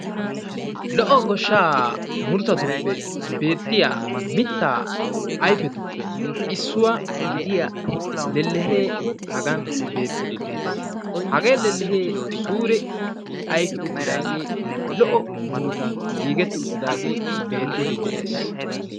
lo"o goshsha muruttatuppe beettiya ayfetuppe issuwaa idiya lellehe hagaan beettide de'ees hage lellehe suure ayfe uttidaage lo"o murutan giigeti uttidaage beetide de'ees